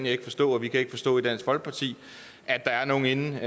ikke forstå og vi kan ikke forstå i dansk folkeparti at der er nogle herinde